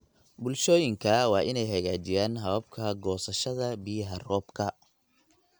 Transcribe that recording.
Bulshooyinka waa inay hagaajiyaan hababka goosashada biyaha roobka.